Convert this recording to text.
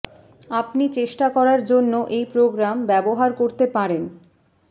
আপনি চেষ্টা করার জন্য এই প্রোগ্রাম ব্যবহার করতে পারেন